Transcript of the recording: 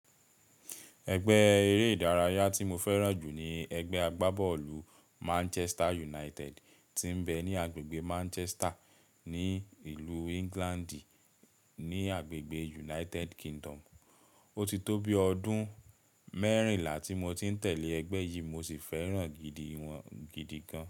Ẹgbẹ́ eré ìdárayá tí mo fẹ́ràn jù ni ẹgbẹ́ agbábọ́ọ̀lù Manchester United tí ń bẹ ní agbègbè Manchester ní ìlú England ní agbègbè United Kingdom. Ó ti tó bi ọdún mẹ́rìnlá tí mo ti ń tẹ̀lé ẹgbẹ́ yìí mo sì fẹ́ràn gidi wọn gidi gan.